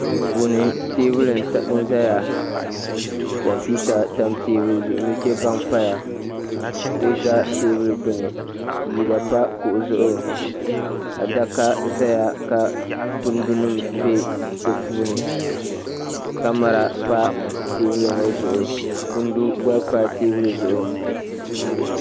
duu puuni teebuli nʒɛya kompiuta tam teebuli zuɣu nuchɛ baŋ paya kuɣu ʒɛ teebuli gbuni liiga pa kuɣu zuɣu adaka ʒɛya ka kundu nim bɛ di puuni kamɛra pa teebuli ŋɔ zuɣu kundi gba pa teebuli zuɣu